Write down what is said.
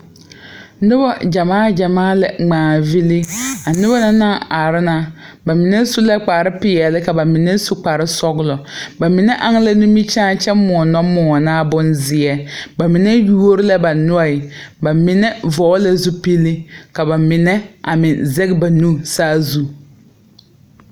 Nobɔ gyamaa gyamaa la ngmaa villi a nobɔ na naŋ are na ba mine su la kparepeɛle ka ba mine su kparesɔglɔ ba mine aŋ la nimikyaane kyɛ moɔ nɔ moɔnaa bonzeɛ ba mine yuori la ba noɔɛ ba mine vɔgle la zupile ka ba mine a meŋ zɛge ba nu saazu.